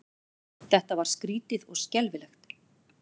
Þetta var skrýtið og skelfilegt.